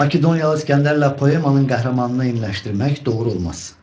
Makedoniyalı İsgəndərlə poemanın qəhrəmanını eyniləşdirmək doğru olmaz.